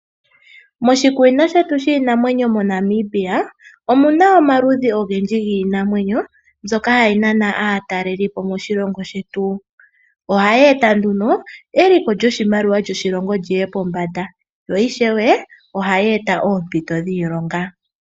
Moshikunino shetu shiinamwenyo moNamibia omuna omaludhi ogendji giinamwenyo yayooloka mbyoka hayi nana aatalelipo . Ohayi eta nduno eliko lyoshimaliwa lyoshilongo lyoye pombanda, lyo ishewe ohali eta oompito dhiilonga.